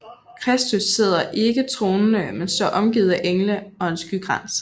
Kristus sidder ikke tronende men står omgivet af engle og en skykrans